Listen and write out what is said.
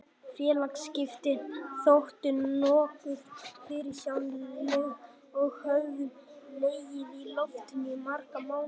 Félagaskiptin þóttu nokkuð fyrirsjáanleg og höfðu legið í loftinu í marga mánuði.